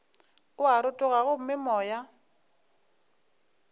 o a rotoga gomme moya